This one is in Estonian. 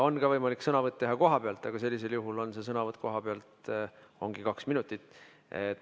On ka võimalik teha sõnavõtt kohapealt, aga sellisel juhul see sõnavõtt ongi kaks minutit.